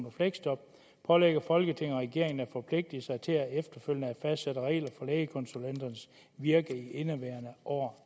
og fleksjob pålægger folketinget regeringen at forpligte sig til efterfølgende at fastsætte regler for lægekonsulenternes virke i indeværende år